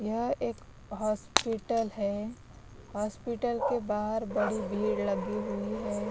यह एक हॉस्पिटल हैं हॉस्पिटल के बाहर बड़ी भीड़ लगी हुई है।